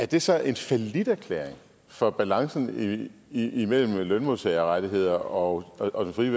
det så en falliterklæring for balancen imellem lønmodtagerrettigheder og og den frie